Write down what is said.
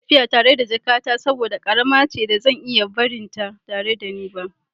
Ina son tafiya da jakata saboda ƙarama ce da zan iya barinta tare da ni.